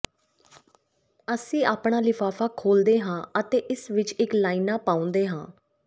ਅਸੀਂ ਆਪਣਾ ਲਿਫ਼ਾਫ਼ਾ ਖੋਲ੍ਹਦੇ ਹਾਂ ਅਤੇ ਇਸ ਵਿੱਚ ਇੱਕ ਲਾਈਨਾਂ ਪਾਉਂਦੇ ਹਾਂ